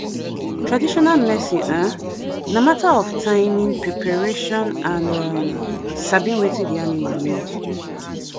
traditional medicine um na matter of timing preparation and um sabi wetin the animal need.